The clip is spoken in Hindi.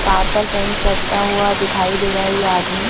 कार पर पेंट करता हुआ दिखाई दे रहा है ये आदमी।